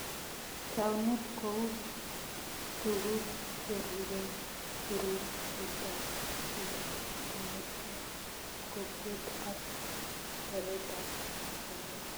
Taunet kou tukuk cherubei puruchetab geneshek ,kokweet, ak oretab sobet